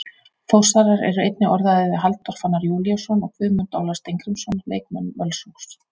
Þórsarar eru einnig orðaðir við Halldór Fannar Júlíusson og Guðmund Óla Steingrímsson leikmenn Völsungs.